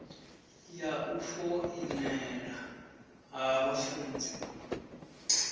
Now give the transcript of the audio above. ya u foinela ha vhafunzi